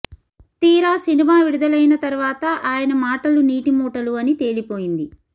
తీరా సినిమా విడుదలైన తర్వాత ఆయన మాటలు నీటి మూటలు అని తేలిపోయింది